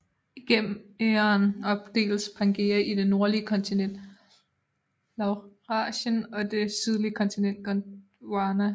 Igennem æraen opdeles Pangæa i det nordlige kontinent Laurasien og det sydlige kontinent Gondwana